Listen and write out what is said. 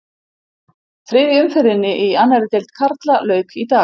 Þriðju umferðinni í annarri deild karla lauk í dag.